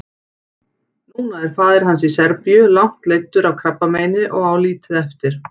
Núna er faðir hans í Serbíu langt leiddur af krabbameini og á lítið eftir.